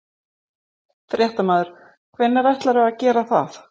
Fréttamaður: Hvenær ætlarðu að gera það?